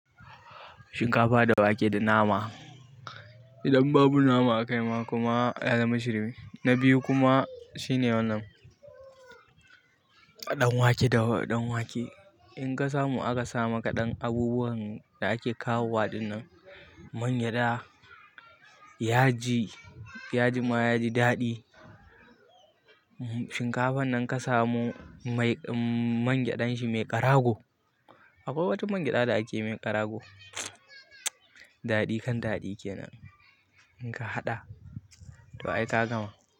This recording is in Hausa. Shinkafa da wake da nama. Idan babu nama a kai ma kuma ya zama shirme na biyu kuma shine wannan, ɗan wake da ɗan wake. In ka samu aka sa maka ɗan abubuwan da ake kawo ɗinnan mangyaɗa, yaji, yajin ma yaji daɗi. Shinkafan nan ka samu mai mangyaɗan shi mai ƙarago. Akwai wata mangyaɗa da ake mai ƙarago, daɗi kan daɗi kenan in ka haɗa to ai ta gama.